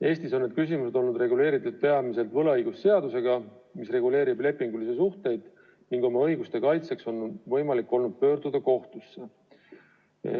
Eestis on need küsimused olnud reguleeritud peamiselt võlaõigusseadusega, mis reguleerib lepingulisi suhteid, ning oma õiguste kaitseks on võimalik olnud pöörduda kohtusse.